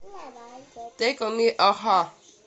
тэйк он ми а ха